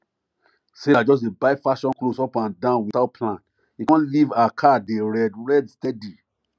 sarah just dey buy fashion clothes up and down without plan e come leave her card dey red red steady